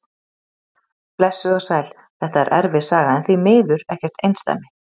Blessuð og sæl, þetta er erfið saga en því miður ekkert einsdæmi.